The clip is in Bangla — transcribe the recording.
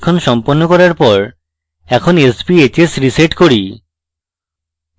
পরীক্ষণ সম্পন্ন করার পর এখন sbhs reset করি